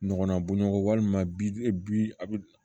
Ɲɔgɔnna bɔnɲɔgɔn walima bi a bɛ